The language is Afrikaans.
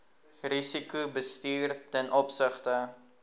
risikobestuur ten opsigte